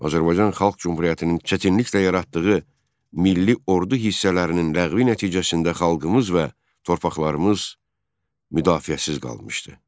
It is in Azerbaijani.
Azərbaycan Xalq Cümhuriyyətinin çətinliklə yaratdığı milli ordu hissələrinin ləğvi nəticəsində xalqımız və torpaqlarımız müdafiəsiz qalmışdı.